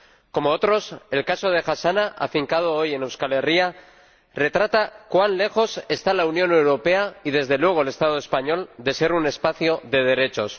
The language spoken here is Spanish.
Como otros, el caso de Hasana, afincado hoy en Euskal Herria, retrata cuán lejos están la Unión Europea y, desde luego, el Estado español, de ser un espacio de derechos.